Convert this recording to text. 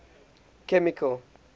chemical